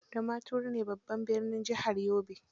Damaturu ne babban birnin jihar Yobe.